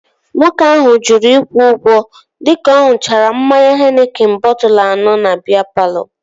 Nwoke ahụ jụrụ ịkwụ ụgwọ dịka ọ ṅuchara mmanya henikin bọtụlu anọ na biya palọ